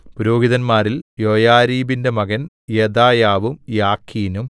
പുരോഹിതന്മാരിൽ യൊയാരീബിന്റെ മകൻ യെദായാവും യാഖീനും